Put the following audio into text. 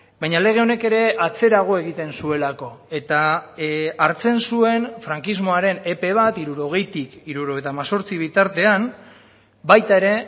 baina lege honek ere atzerago egiten zuelako eta hartzen zuen frankismoaren epe bat hirurogeitik hirurogeita hemezortzi bitartean baita ere